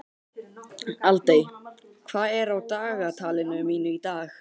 Aldey, hvað er á dagatalinu mínu í dag?